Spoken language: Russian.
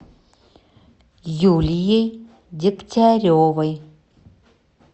юлией дегтяревой